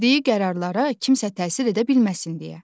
Verdiyi qərarlara kimsə təsir edə bilməsin deyə.